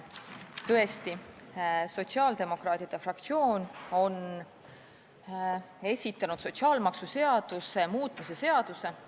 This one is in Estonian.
Tõesti, sotsiaaldemokraatide fraktsioon on esitanud sotsiaalmaksuseaduse muutmise seaduse eelnõu.